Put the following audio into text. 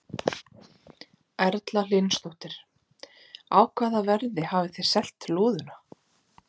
Erla Hlynsdóttir: Á hvaða verði hafið þið selt lúðuna?